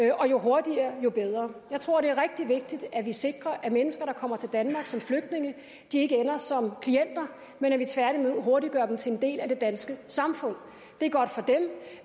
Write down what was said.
og jo hurtigere jo bedre jeg tror det er rigtig vigtigt at vi sikrer at mennesker der kommer til danmark som flygtninge ikke ender som klienter men at vi tværtimod hurtigt gør dem til en del af det danske samfund det er godt for dem